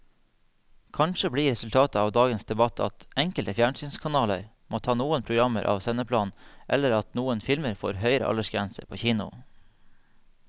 Kanskje blir resultatet av dagens debatt at enkelte fjernsynskanaler må ta noen programmer av sendeplanen eller at noen filmer får høyere aldersgrense på kino.